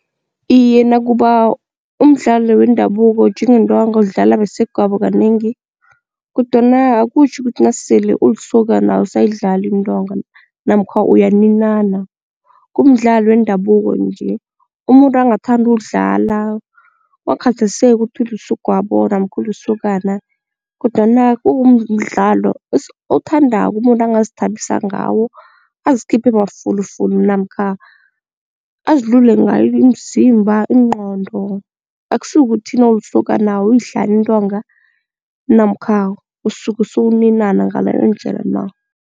Iye, nakuba umdlalo wendabuko njengentonga udlala besegwabo kanengi kodwana akutjho ukuthi nasele ulisokana awusayidlali intonga namkha uyaninana. Kumdlalo wendabuko nje umuntu angathanda udlala kungakhathaliseki ukuthi ulisegwabo namkha ulisokana kodwana kuwumdlalo othandako umuntu angazithabisa ngawo azikhiphe mafulufulu namkha azilule ngayo imzimba, ingqondo akusi kukuthi nawulisokana awuyidlali intonga namkha usuke sewuninana ngaleyo ndlela na.